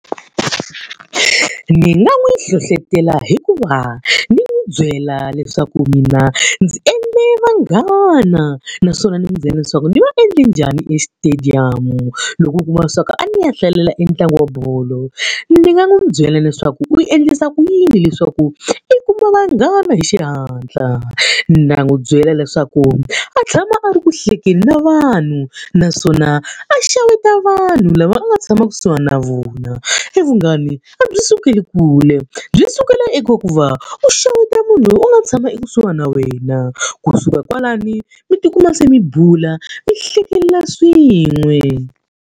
Ni nga n'wi hlohletela hikuva ni n'wi byela leswaku mina ndzi endle vanghana naswona ni n'wi byela leswaku ni va endle njhani esitediyamu, loko u kuma leswaku a ni ya hlalela ntlangu wa bolo. Ni nga n'wi byela leswaku u yi endlisa ku yini leswaku i kuma vanghana hi xihatla, na n'wi byela leswaku a tshama a ri ku hlekeni na vanhu naswona a xeweta vanhu lava a nga tshama kusuhana na vona. Evunghani a byi sukeli kule, byi sukela eka ku va u xeweta munhu loyi u nga tshama ekusuhana na wena. Ku suka kwalano mi tikuma se mi bula mi hlekelela swin'we.